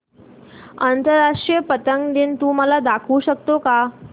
आंतरराष्ट्रीय पतंग दिन तू मला दाखवू शकतो का